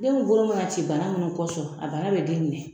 Den min bolo manna ci bana min kɔsɔn a bana bɛ den minɛ .